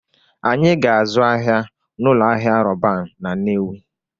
Anyị ga-azụ ahịa n'ụlọ ahịa Roban na Nnewi